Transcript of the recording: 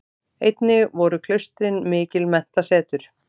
Einnig voru klaustrin mikil menntasetur.